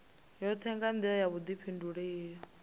yoṱhe nga nḓila ya vhuḓifhinduleli